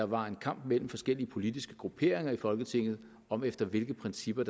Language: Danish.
var en kamp mellem forskellige politiske grupperinger i folketinget om efter hvilke principper